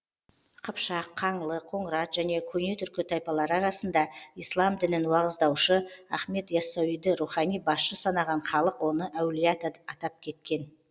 қыпшақ қаңлы қоңырат және көне түркі тайпалары арасында ислам дінін уағыздаушы ахмет иассауиді рухани басшы санаған халық оны әулие ата атап кеткен